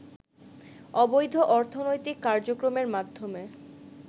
অবৈধ অর্থনৈতিক কার্যক্রমের মাধ্যমে